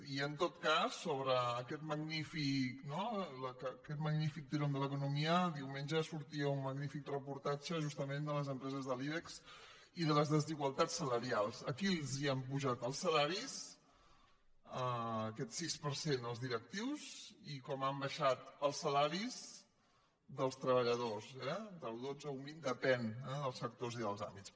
i en tot cas sobre aquest magnífic no tirónl’economia diumenge sortia un magnífic reportatge justament de les empreses de l’ibex i de les desigualtats salarials a qui els han apujat els salaris aquest sis per cent als directius i com han baixat els salaris dels treballadors eh del dotze a un vint depèn dels sectors i dels àmbits